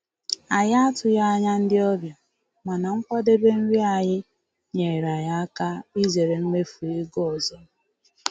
Anyị atụghị anya ndị ọbịa, mana nkwadebe nri anyị nyeere anyị aka izere mmefu ego ọzọ.